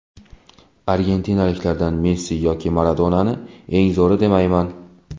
Argentinaliklardan Messi yo Maradonani eng zo‘ri demayman.